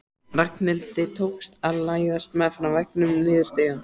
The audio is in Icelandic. Ragnhildi tókst að læðast meðfram veggnum niður stigann.